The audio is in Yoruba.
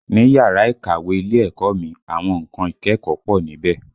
Ni yàrá ìkàwé ilé ẹ̀kọ́ mi, àwọn nǹkan ìkẹ́kọ̀ọ́ pọ̀ níbẹ̀